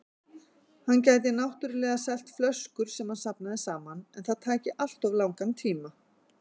Hann gæti náttúrlega selt flöskur sem hann safnaði saman, en það tæki alltof langan tíma.